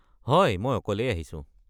হয়, মই অকলেই আহিছো।